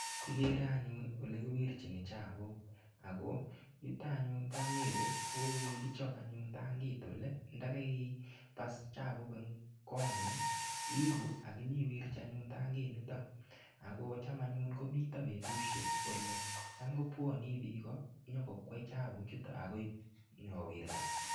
Kigere anyun ole kiwirchini chapuk ako yutok anyun po Nyeri kigichap anyun tangit ole ndakai pas chapuk ole kong'ung' iipu akiwirchi anyun tangit nitok ako cham anyun mito petusiek ole cham kopwanii piko nyiko kwey chapuk chutok akoip nyiko wirtaet.